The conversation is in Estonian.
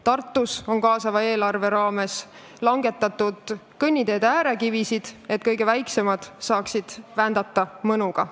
Tartus on kaasava eelarvega langetatud kõnniteede äärekivisid, et ka kõige väiksemad saaksid mõnuga ratast vändata.